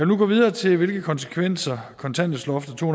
nu gå videre til hvilke konsekvenser kontanthjælpsloftet to